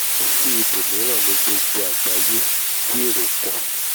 kò tún sí ibòmíràn ní gbogbo àgbáyé tí èro pọ̀